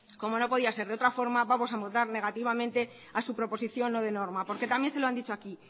como no puede ser de otra forma vamos a votar negativamente a su proposición no de norma porque también se lo han dicho aquí